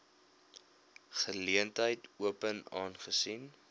geleentheid open aangesien